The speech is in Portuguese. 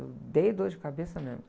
Eu dei dor de cabeça mesmo.